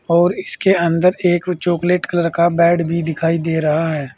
और इसके अंदर एक चॉकलेट कलर का बेड भी दिखाई दे रहा है।